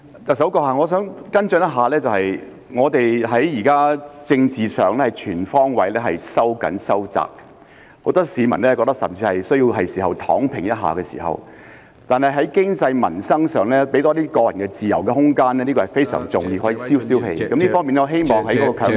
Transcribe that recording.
特首，我想跟進一下，現在我們在政治上全方位收緊和收窄，很多市民甚至認為需要"躺平"一下；但在經濟、民生上，多給予個人自由和空間是非常重要的，可以消一消氣，我希望是否可以考慮將強積金放寬......